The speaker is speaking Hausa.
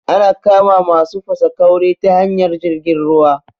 Ana kama masu fasaƙauri ta hanyar jirgin ruwa